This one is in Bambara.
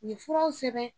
U ye furaw sɛbɛn